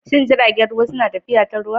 Shin jiragen ruwa suna tafiya ta ruwa?